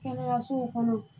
Kɛnɛyasow kɔnɔ